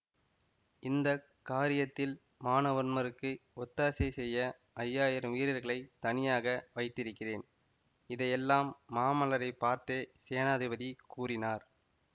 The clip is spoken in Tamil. இந்த காரியத்தில் மானவன்மருக்கு ஒத்தாசை செய்ய ஐயாயிரம் வீரர்களைத் தனியாக வைத்திருக்கிறேன் இதையெல்லாம் மாமல்லரைப் பார்த்தே சேனாதிபதி கூறினார்